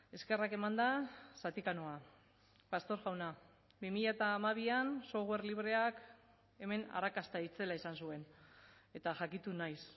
eskerrak emanda zatika noa pastor jauna bi mila hamabian software libreak hemen arrakasta itzela izan zuen eta jakitun naiz